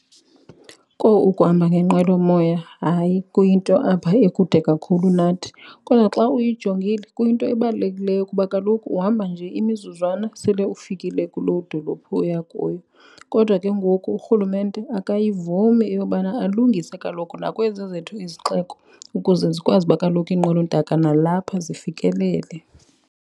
Kowu, ukuhamba ngenqwelomoya hayi kuyinto apha ekude kakhulu nathi kodwa xa uyijongile kuyinto ebalulekileyo kuba kaloku uhamba nje imizuzwana sele ufikile kuloo dolophu oya kuyo. Kodwa ke ngoku uRhulumente akuyivumi eyobana alungise kaloku nakwezaa zethu izixeko ukuze zikwazi uba kaloku iinqwelontaka nalapha zifikelele.